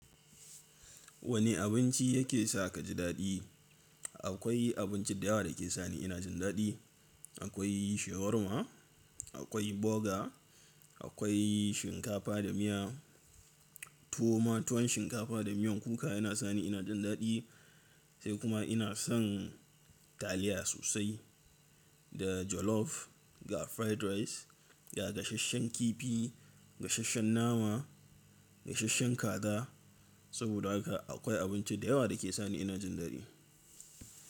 Wane abinci yake sa ka ji daɗi? Akwai abinci da yawa da ke sani ina jin daɗi. Akwai shawarma, akwai burger, akwai shinkafa da miya. Tuwo ma tuwon shinkafa da miyan kuka yana sani ina jin daɗi sai kuma ina son taliya sosai da jollof ga fried rice ga gasasshen kifi, gasasshen nama, gasasshen kaza. Saboda haka akwai abinci da yawa da ke sani ina jin daɗi.